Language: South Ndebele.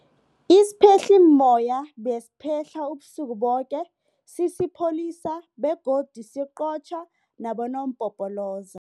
Isiphehlimmoya besiphehla ubusuku boke sisipholisa begodu siqotjha nabonompopoloza.